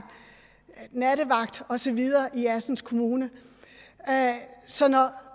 og nattevagt og så videre i assens kommune så når